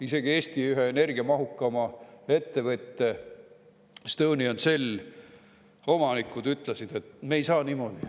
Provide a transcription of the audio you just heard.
Isegi Eesti ühe energiamahukama ettevõtte Estonian Cell omanikud ütlesid, et nad ei saa niimoodi.